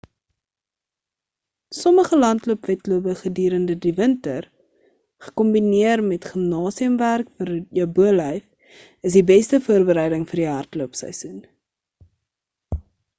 sommige landloop wedlope gedurende die winter gekombineer met gimnasium werk vir jou bolyf is die beste voorbereiding vir die hardloop seisoen